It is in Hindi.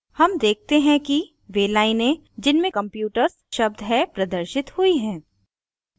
हम देखते हैं कि वे लाइनें जिनमें computers शब्द है प्रदर्शित हुई हैं